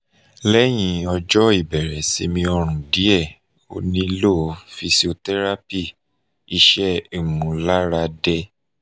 mri nilo lati um mo idi sciatica fun itoju ti o peye